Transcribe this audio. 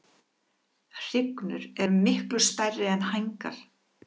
Hrygnur eru miklu stærri er hængar.